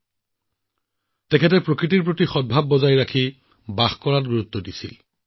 ভগৱান বীৰছা মুণ্ডাই সদায় প্ৰকৃতিৰ লগত মিলাপ্ৰীতিৰে জীয়াই থকাৰ ওপৰত গুৰুত্ব আৰোপ কৰিছিল